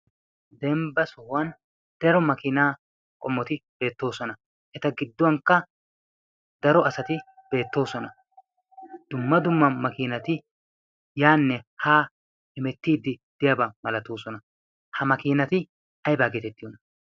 dembba sohuwan daro makiinaa qommoti beettoosona eta gidduwankka daro asati beettoosona dumma dumma makiinati yaanne ha hemettiiddi deyaabaa malatoosona ha makiinati aibaa geetettiyoona